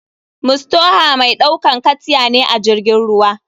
Mustaoha mai ɗaukan katya ne ajirgin ruwa.